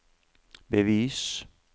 bevis